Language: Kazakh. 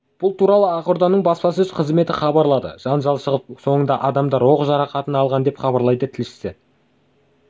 бұл туралы ақорданың баспасөз қызметі хабарлады жанжал шығып соңында адамдар оқ жарақатын алған деп хабарлайды тілшісі